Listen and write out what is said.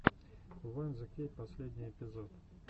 ван зе кей последний эпизод